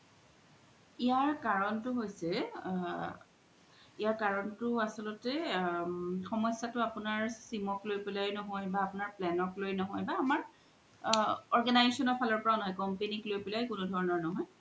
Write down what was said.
ইয়াৰ কাৰন তু হৈছে আ ইয়াৰ কাৰন আচ্ল্তে অ সমস্যাতু আপুনাৰ sim ক লই পেলাই ন্হয় বা আপুনাৰ plan ক লই ন্হয় বা আমাৰ অ বা organization ৰ ফালৰ পৰাও ন্হয় company ক লই কোনো ধনৰ ন্হয়